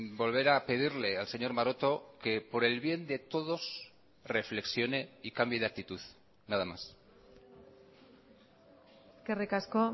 volver a pedirle al señor maroto que por el bien de todos reflexione y cambie de actitud nada más eskerrik asko